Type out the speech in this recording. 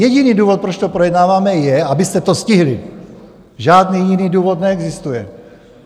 Jediný důvod, proč to projednáváme, je, abyste to stihli, žádný jiný důvod neexistuje.